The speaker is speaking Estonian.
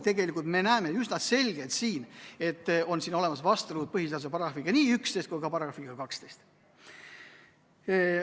Tegelikult me näeme üsna selgelt, et on olemas vastuolu nii põhiseaduse §-ga 11 kui ka §-ga 12.